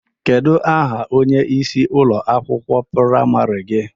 Kedụ aha onyeisi ụlọ akwụkwọ praimarị gị?